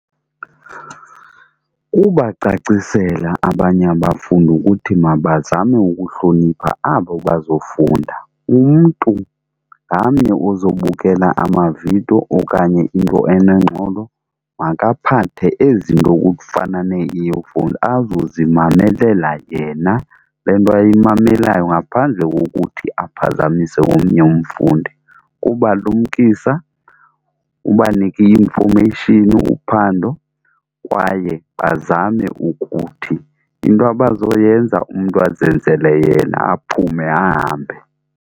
Kubacacisela abanye abafundi ukuthi mabazame ukuhlonipha abo bazofunda. Umntu ngamnye ozobukela amavidiyo okanye into enengxolo makaphathe ezi nto okufana nee-earphones azozimamelela yena le nto ayimamelayo ngaphandle kokuthi aphazamise omnye umfundi. Kubalumkisa, ubanike i-information uphando kwaye bazame ukuthi into abazoyenza umntu azenzele yena aphume ahambe.